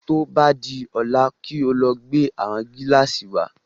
Tí o bá di ọ̀la kí o lọ gbé àwọn Gílàsì wa